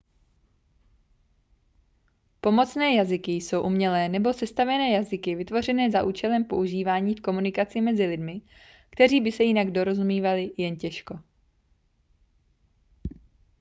pomocné jazyky jsou umělé nebo sestavené jazyky vytvořené za účelem používání v komunikaci mezi lidmi kteří by se jinak dorozumívali jen těžko